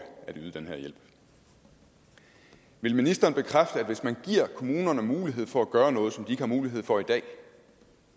at yde den her hjælp vil ministeren bekræfte at hvis man giver kommunerne mulighed for at gøre noget som de har mulighed for i dag